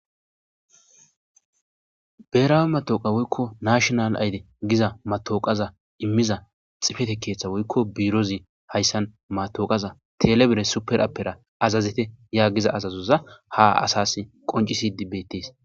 Beerawe matooqa woykko nashonal ayde giza matooqaza immiza xifete keeththa woykko biirozi hayssan matoqaza telebere superappera azazete yaa giza azazoza haasas qoncisi dibbettees.